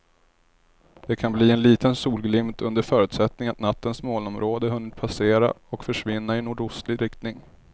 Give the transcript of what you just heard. Det kan bli en liten solglimt under förutsättning att nattens molnområde hunnit passera och försvinna i nordostlig riktning.